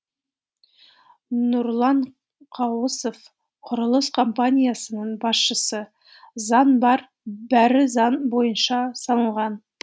нұрлан қауысов құрылыс компаниясының басшысы заң бар бәрі заң бойынша салынған